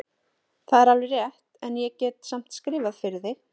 Það er alveg rétt, en ég get samt skrifað fyrir þig.